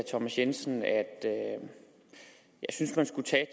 thomas jensen at jeg synes man skulle tage